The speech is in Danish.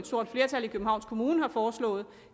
stort flertal i københavns kommune har foreslået